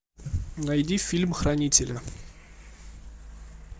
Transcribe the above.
найди фильм хранители